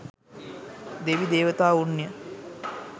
දෙවි දේවතාවුන් ය.